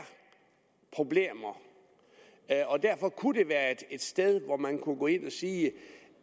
problemer derfor kunne det være et sted hvor man kunne gå ind og sige